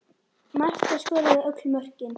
Marta skoraði öll mörkin.